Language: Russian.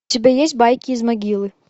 у тебя есть байки из могилы